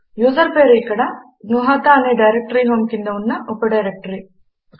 user పేరు ఇక్కడ జ్ఞుహత అనే డైరెక్టరీ హోం కింద ఉన్న ఉప డైరెక్టరీ